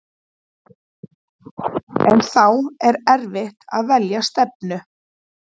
En þá er eftir að velja stefnu.